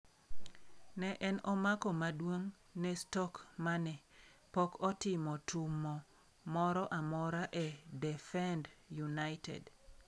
Ne en omako maduong' ne Stoke mane pok otimo tumo moro amora e defend United.